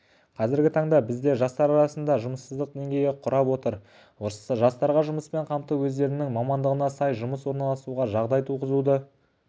қазіргі таңда бізде жастар арасындағы жұмыссыздық деңгейі құрап отыр жастарға жұмыспен қамту өздерінің мамандығына сай жұмыс орналасуға жағдай туығызудың бірден-бір тетігі